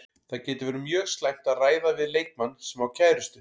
Það getur verið mjög slæmt að ræða við leikmann sem á kærustu.